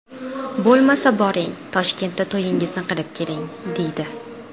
Bo‘lmasa, boring Toshkentda to‘yingizni qilib keling”, deydi.